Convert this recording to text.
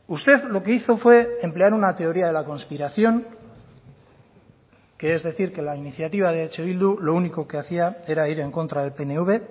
usted lo que hizo fue emplear una teoría de la conspiración que es decir que la iniciativa de eh bildu lo único que hacía era ir en contra del pnv